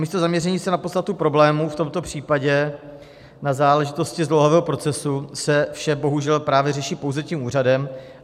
Namísto zaměření se na podstatu problému, v tomto případě na záležitosti zdlouhavého procesu, se vše bohužel právě řeší pouze tím úřadem.